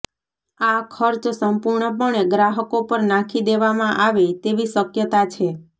આ ખર્ચ સંપૂર્ણપણે ગ્રાહકો પર નાખી દેવામાં આવે તેવી શક્યતા છે